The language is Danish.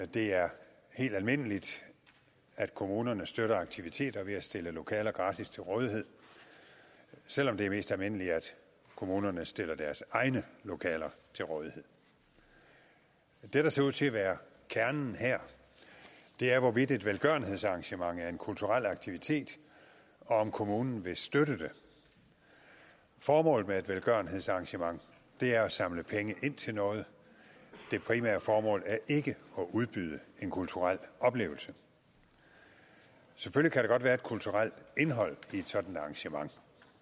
det er helt almindeligt at kommunerne støtter aktiviteter ved at stille lokaler gratis til rådighed selv om det er mest almindeligt at kommunerne stiller deres egne lokaler til rådighed det der ser ud til at være kernen her er hvorvidt et velgørenhedsarrangement er en kulturel aktivitet og om kommunen vil støtte det formålet med et velgørenhedsarrangement er at samle penge ind til noget det primære formål er ikke at udbyde en kulturel oplevelse selvfølgelig kan der godt være et kulturelt indhold i et sådant arrangement